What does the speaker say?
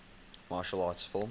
martial arts film